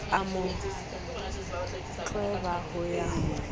a mo tlweba ho ya